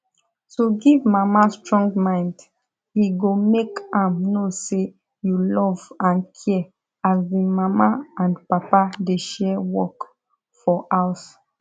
to give mama strong mind e go make am know say you love and care as the mama and papa dey share work for house